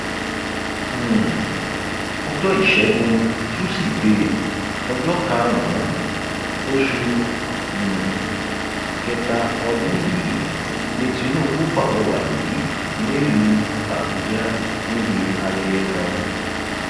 um ọjọ ìṣẹgun tusidee ọjọ karùnún oṣù um kẹta ọdún yìí ni tinubu pàrọwà yìí nílùú àbújá níbi ayẹyẹ kan